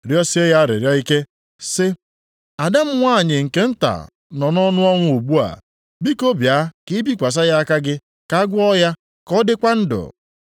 rịọsie ya arịrịọ ike sị, “Ada m nwanyị nke nta nọ nʼọnụ ọnwụ ugbu a. Biko, bịa ka ị bikwasị ya aka gị ka agwọ ya, ka ọ dịkwa ndụ.”